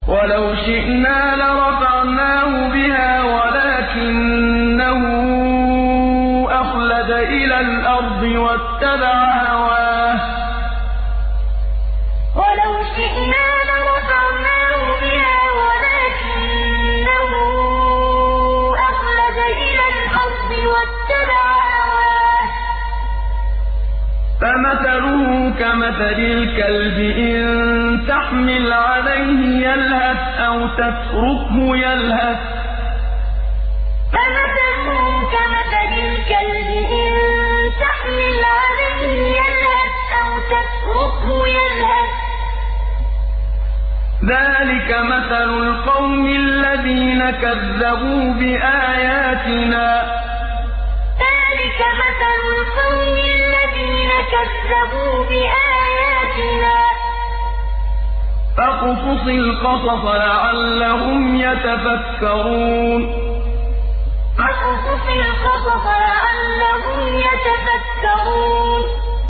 وَلَوْ شِئْنَا لَرَفَعْنَاهُ بِهَا وَلَٰكِنَّهُ أَخْلَدَ إِلَى الْأَرْضِ وَاتَّبَعَ هَوَاهُ ۚ فَمَثَلُهُ كَمَثَلِ الْكَلْبِ إِن تَحْمِلْ عَلَيْهِ يَلْهَثْ أَوْ تَتْرُكْهُ يَلْهَث ۚ ذَّٰلِكَ مَثَلُ الْقَوْمِ الَّذِينَ كَذَّبُوا بِآيَاتِنَا ۚ فَاقْصُصِ الْقَصَصَ لَعَلَّهُمْ يَتَفَكَّرُونَ وَلَوْ شِئْنَا لَرَفَعْنَاهُ بِهَا وَلَٰكِنَّهُ أَخْلَدَ إِلَى الْأَرْضِ وَاتَّبَعَ هَوَاهُ ۚ فَمَثَلُهُ كَمَثَلِ الْكَلْبِ إِن تَحْمِلْ عَلَيْهِ يَلْهَثْ أَوْ تَتْرُكْهُ يَلْهَث ۚ ذَّٰلِكَ مَثَلُ الْقَوْمِ الَّذِينَ كَذَّبُوا بِآيَاتِنَا ۚ فَاقْصُصِ الْقَصَصَ لَعَلَّهُمْ يَتَفَكَّرُونَ